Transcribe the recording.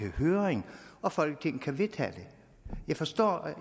i høring og folketinget vedtage dem jeg forstår